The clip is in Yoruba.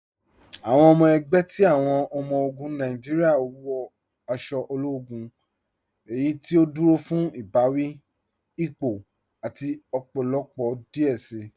Awọn ọmọ ẹgbẹ ti awọn ọmọ-ogun Nàìjíríà wọ aṣọ ológún, eyí tí ó dúró fún ibàwí, ípò, àti ọpọlọpọ díẹ̀ sí.